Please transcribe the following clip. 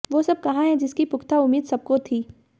वो सब कहां है जिसकी पुख्ता उम्मीद सबको थी